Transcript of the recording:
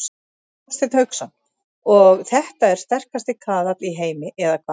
Hafsteinn Hauksson: Og þetta er sterkasti kaðall í heimi eða hvað?